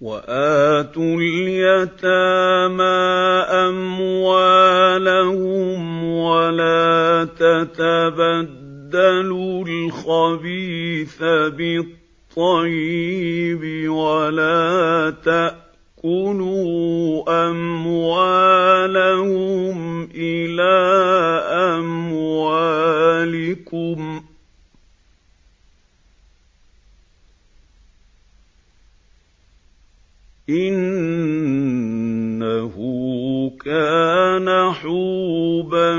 وَآتُوا الْيَتَامَىٰ أَمْوَالَهُمْ ۖ وَلَا تَتَبَدَّلُوا الْخَبِيثَ بِالطَّيِّبِ ۖ وَلَا تَأْكُلُوا أَمْوَالَهُمْ إِلَىٰ أَمْوَالِكُمْ ۚ إِنَّهُ كَانَ حُوبًا